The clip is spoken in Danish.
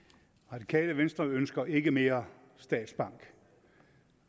radikale venstre ønsker ikke mere statsbank